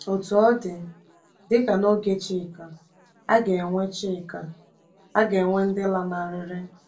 Otú ọ dị, dị ka n’oge Chika, a ga-enwe Chika, a ga-enwe ndị lanarịrị.